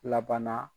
Laban na